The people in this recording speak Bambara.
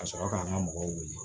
Ka sɔrɔ k'an ka mɔgɔw wele